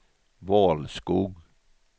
Valskog